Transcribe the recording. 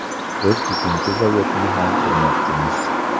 Biz uchinchi zavodni ham qurmoqchimiz.